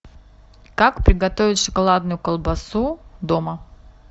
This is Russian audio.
как приготовить шоколадную колбасу дома